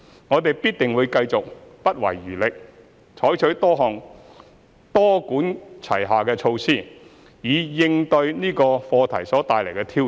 我們必定會繼續不遺餘力，採取多管齊下的措施以應對這個課題所帶來的挑戰。